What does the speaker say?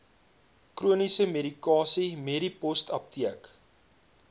chroniese medikasie medipostapteek